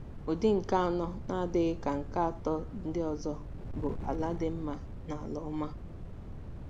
Ụdị nke anọ, na-adịghị ka nke atọ ndị ọzọ, bụ “ala dị mma” na “ala ọma.”